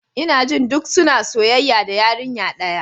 Ina jin duk suna soyayya da yarinya daya.